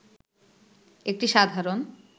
একটি সাধারণ